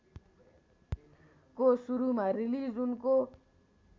को सुरूमा रिलिज उनको